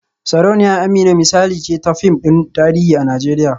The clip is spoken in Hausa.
Sarauniya Amina misali ce ta fim din tarihi a Najeriya